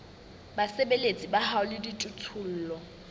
basebeletsi ba hao le dijothollo